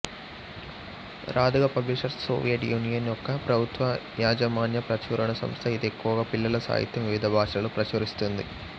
Raduga publishers Soviet Union యొక్క ప్రభుత్వయాజమాన్య ప్రచురణ సంస్థ ఇది ఎక్కువగా పిల్లల సాహిత్యం వివిధ భాషలలో ప్రచురిస్తుంది